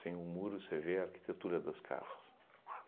Sem o muro, você vê a arquitetura das casas.